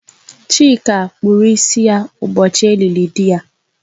Chika kpụrụ ịsị ya ụbọchị e lili dị ya